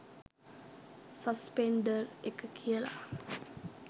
Suspender එක කියල.